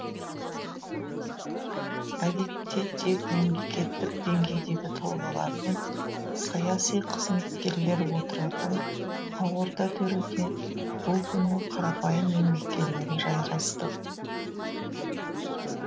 әдетте тек мемлекеттік деңгейдегі тұлғалар мен саяси қызметкерлер отыратын ақорда төріне бұл күні қарапайым еңбеккерлер жайғасты